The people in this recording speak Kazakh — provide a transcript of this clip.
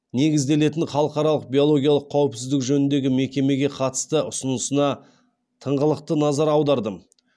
негізделетін халықаралық биологиялық қауіпсіздік жөніндегі мекемеге қатысты ұсынысына тыңғылықты назар аудардым